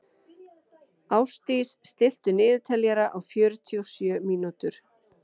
Ástdís, stilltu niðurteljara á fjörutíu og sjö mínútur.